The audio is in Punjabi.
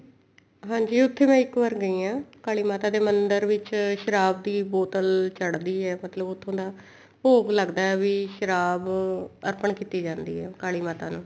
ਹਾਂਜੀ ਉੱਥੇ ਮੈਂ ਇੱਕ ਵਾਰ ਗਈ ਹਾਂ ਕਾਲੀ ਮਾਤਾ ਦੇ ਮੰਦਰ ਵਿੱਚ ਸ਼ਰਾਬ ਦੀ ਬੋਤਲ ਚੜਦੀ ਹੈ ਮਤਲਬ ਉੱਥੋਂ ਦਾ ਭੋਗ ਲੱਗਦਾ ਵੀ ਸ਼ਰਾਬ ਅਰਪਨ ਕੀਤੀ ਜਾਂਦੀ ਹੈ ਕਾਲੀ ਮਾਤਾ ਨੂੰ